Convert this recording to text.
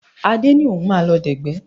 Adé ní òun máa lọ dẹ̀gbẹ́